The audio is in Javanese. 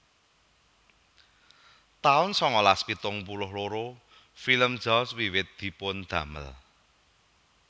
taun sangalas pitung puluh loro Film Jaws wiwit dipun damel